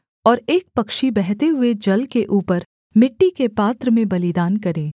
और एक पक्षी बहते हुए जल के ऊपर मिट्टी के पात्र में बलिदान करे